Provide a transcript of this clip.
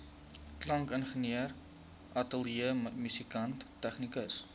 klankingenieur ateljeemusikant tegnikus